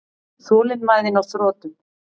Þolinmæðin á þrotum.